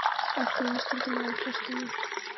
Allt í einu stendur maður í forstofunni.